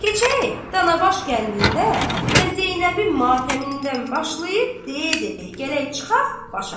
Keçək Danabaş kəndində və Zeynəbin matəmindən başlayıb deyə-deyə gələk çıxaq başa.